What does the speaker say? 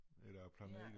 Eller planeter